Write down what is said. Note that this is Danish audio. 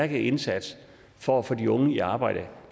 indsats for at få de unge i arbejde